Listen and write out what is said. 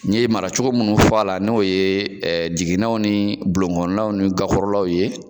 N ye mara cogo munnu fɔ a la , n'o ɛɛ jiginɛw ni bulonkɔnnaw ni gakɔrɔlaw ye